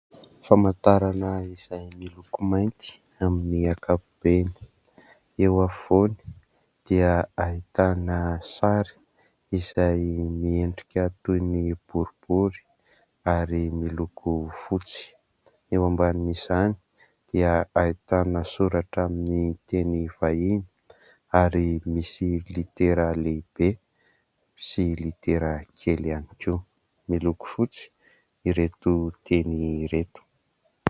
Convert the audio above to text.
Famantarana izay miloko mainty amin'ny ankapobeny, eo afovoany dia ahitana sary izay miendrika toy ny boribory ary miloko fotsy. Eo ambanin'izany dia ahitana soratra amin'ny teny vahiny ary misy litera lehibe sy litera kely ihany koa. Miloko fotsy ireo teny ireo.